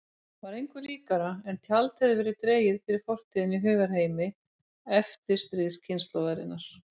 Var engu líkara en tjald hefði verið dregið fyrir fortíðina í hugarheimi eftirstríðskynslóðarinnar.